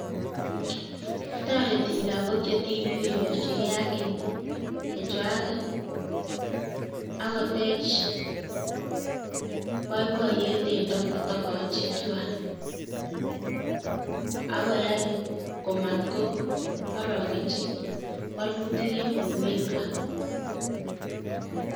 Toreti lagok che tibik konyorchikei haki chechwaket ak kotech boiboiyet en tokochichwai ak koyai komatkoorokenchi wolutik eng borwekwa.